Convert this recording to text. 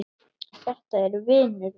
Þetta var vinur minn.